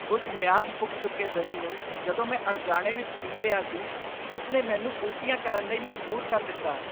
ਉਸ ਮਿਆਦ ਪੁੱਗ ਚੁੱਕੇ ਦਹੀਂ ਨੂੰ ਜਦੋਂ ਮੈਂ ਅਣਜਾਣੇ ਵਿੱਚ ਪੀ ਲਿਆ ਸੀ, ਉਸ ਨੇ ਮੈਨੂੰ ਉਲਟੀਆਂ ਕਰਨ ਲਈ ਮਜ਼ਬੂਰ ਕਰ ਦਿੱਤਾ।